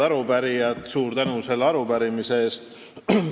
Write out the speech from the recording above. Head arupärijad, suur tänu selle arupärimise eest!